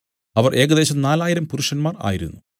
അവർ ഏകദേശം നാലായിരം പുരുഷന്മാർ ആയിരുന്നു